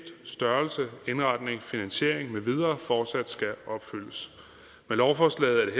størrelse indretning finansiering med videre fortsat skal opfyldes med lovforslaget